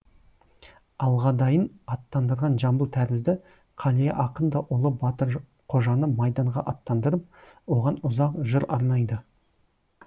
алғадайын аттандырған жамбыл тәрізді қалия ақын да ұлы батырқожаны майданға аттандырып оған ұзақ жыр арнайды